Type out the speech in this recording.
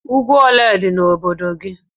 Úgwú ólé dị n' obodo gị?